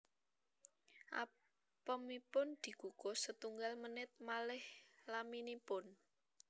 Apemipun dikukus setunggal menit malih laminipun